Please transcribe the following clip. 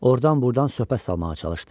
Ordan-burdan söhbət salmağa çalışdı.